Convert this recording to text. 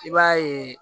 I b'a yeee